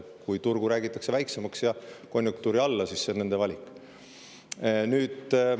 Kui turgu räägitakse väiksemaks ja konjunktuuri alla, siis see on nende valik.